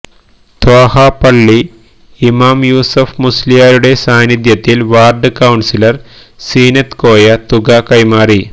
ത്വാഹാ പള്ളി ഇമാം യുസഫ് മുസ്ലിയാരുടെ സാനിധ്യത്തിൽ വാർഡ് കൌൺസിലർ സീനത്ത് കോയ തുക കൈമാറി